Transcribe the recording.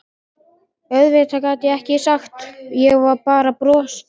Auðvitað gat ég ekkert sagt, ég bara brosti.